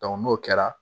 n'o kɛra